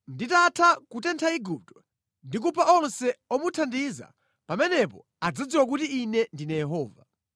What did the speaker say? Nditatha kutentha Igupto ndi kupha onse omuthandiza, pamenepo adzadziwa kuti Ine ndine Yehova.